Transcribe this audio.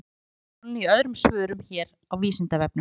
Fjallað er um hin lögmálin í öðrum svörum hér á Vísindavefnum.